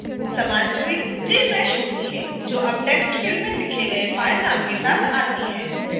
समान screen refreshes होती है जो अब text फिल्ड में लिखे गए फ़ाइल नाम के साथ the है